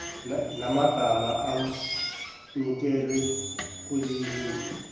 namagama amukelwe kwilebuli